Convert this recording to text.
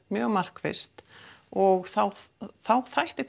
mjög markvisst og þá þá þætti